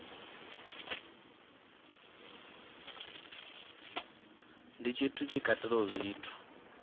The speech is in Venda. ndi tshithu tshi katelaho zwithu